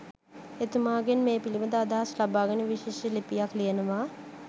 එතුමාගෙන් මේ පිළිබඳ අදහස් ලබාගෙන විශේෂ ලිපියක් ලියනවා